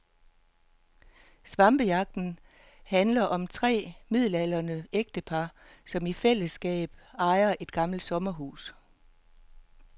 Svampejagten handler om tre midaldrende ægtepar, som i fællesskab ejer et gammelt sommerhus.